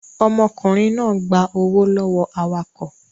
Ọmọkùnrin náà gba owó lọ́wọ́ awakọ̀